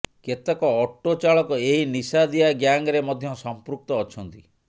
କେତେକ ଅଟୋ ଚାଳକ ଏହି ନିଶାଦିଆ ଗ୍ୟାଙ୍ଗରେ ମଧ୍ୟ ସଂପୃକ୍ତ ଅଛନ୍ତି